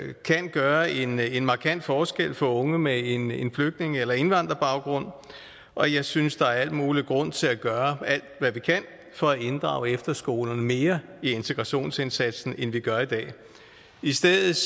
gøre en en markant forskel for unge med en en flygtninge eller indvandrerbaggrund og jeg synes der er al mulig grund til at gøre alt hvad vi kan for at inddrage efterskolerne mere i integrationsindsatsen end vi gør i dag i stedet